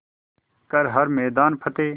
कर हर मैदान फ़तेह